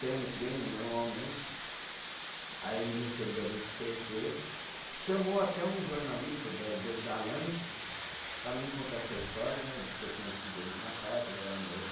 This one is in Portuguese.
Tendo treino normalmente, aí ele me recebeu dentro do cê tê, chamou até um jornalista da do da Lance para mim contar essa história né, de ter conhecido eles na praia quando era novo.